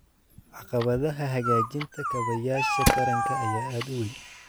Caqabadaha hagaajinta kaabayaasha taranka ayaa aad u weyn.